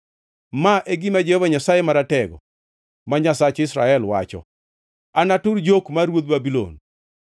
“Ma e gima Jehova Nyasaye Maratego, ma Nyasach Israel, wacho: ‘Anatur jok mar ruodh Babulon.